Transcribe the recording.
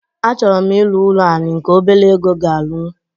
Achọrọ m irụ ụlọ anị nke ọbere ego ga-arụnwụ.